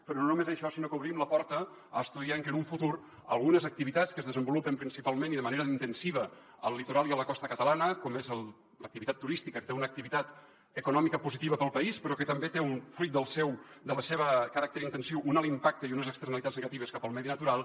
però no només això sinó que obrim la porta a estudiar que en un futur algunes activitats que es desenvolupen principalment i de manera intensiva al litoral i a la costa catalana com és l’activitat turística que té una activitat econòmica positiva per al país però que també té fruit del seu caràcter intensiu un alt impacte i unes externalitats negatives cap al medi natural